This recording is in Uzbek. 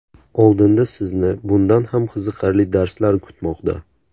Oldinda sizni bundan ham qiziqarli darslar kutmoqda!